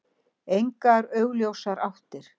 Engar augljósar áttir.